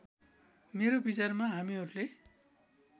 मेरो विचारमा हामीहरूले